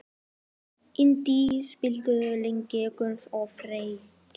Indí, spilaðu lagið „Agnes og Friðrik“.